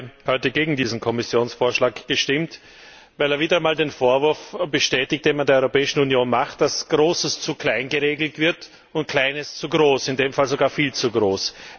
Ich habe heute gegen diesen Kommissionsvorschlag gestimmt, weil er wieder einmal den Vorwurf bestätigt, den man der Europäischen Union macht, dass Großes zu klein geregelt wird und Kleines zu groß, in diesem Fall sogar viel zu groß.